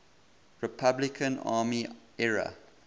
republican army ira